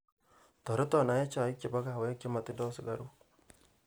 toreton aye chaik chebo kawek chemotindo sugaruk